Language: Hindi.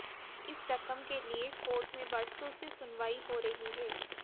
इस रकम के लिए कोर्ट में वर्षों से सुनवाई हो रही है